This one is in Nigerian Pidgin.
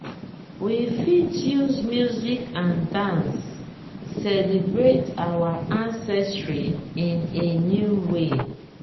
we fit use music and dance celebrate our ancestry in a new way.